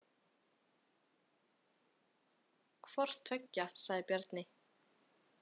Hvorttveggja, sagði Bjarni.